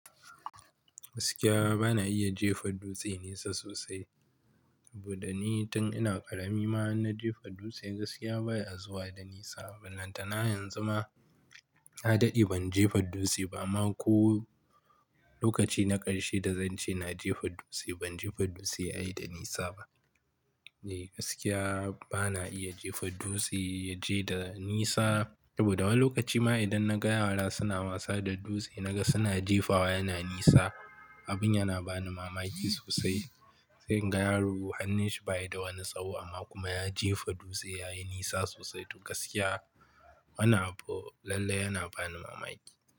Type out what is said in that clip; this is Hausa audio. Gaskiya bana iya jefa dutse nesa sosai. Saboda ni tun ina ƙarami ma in na jefa dutse gaskiya baya zuwa da nisa. Bal lantana yanzu ma na dade ban jefa dutse ba. Amma ko lokaci na ƙarshe da zan ce na jefa dutse, ban jefa dutse ya yi da nisa ba. Eh, gaskiya bana iya jefa dutse ya je da nisa. Saboda wani lokaci ma idan na ga yara suna wasa da dutse na ga suna jefawa yana nisa, abin yana bani mamaki sosai. Sai in ga yaro hannunshi ba yi da wani tsawo amma kuma ya jefa dutse ya yi nisa sosai. To gaskiya mana abu lallai yana bani mamaki.